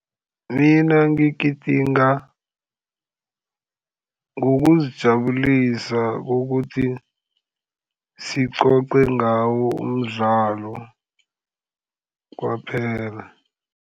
Mina ngigidinga ngokuzijabulisa ukuthi sicoce ngawo umdlalo kwaphela.